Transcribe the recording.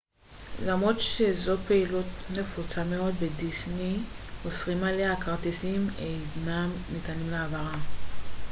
למרות שזו פעילות נפוצה מאוד בדיסני אוסרים עליה הכרטיסים אינם ניתנים להעברה